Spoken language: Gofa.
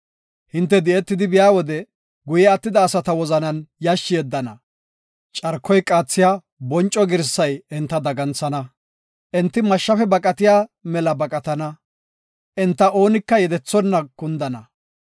Hinte di7etidi biya wode guye attida asata wozanan yashshi yeddana; carkoy qaathiya bonco girsay enta daganthana; enti mashshafe baqatiya mela baqatana; enta oonika yedethonna kundana.